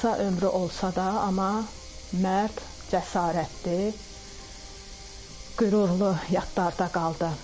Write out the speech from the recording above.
Qısa ömrü olsa da, amma mərd, cəsarətli, qürurlu yadda qaldı.